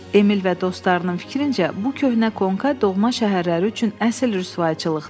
Emil və dostlarının fikrincə bu köhnə konka doğma şəhərləri üçün əsil rüsvayçılıqdır.